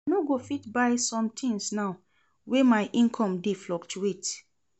I no go fit buy sometins now wey my income dey fluctuate.